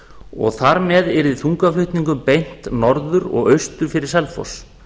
og þar með yrði þungaflutningum beint norður og austur fyrir selfoss